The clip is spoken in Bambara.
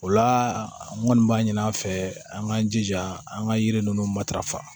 O la n kɔni b'a ɲini an fɛ an k'an jija an ka yiri ninnu matarafa